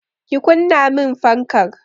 Ki kunna min fankar!